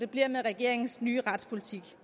blive med regeringens nye retspolitik